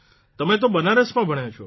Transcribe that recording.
તમે તો બનારસમાં ભણ્યા છો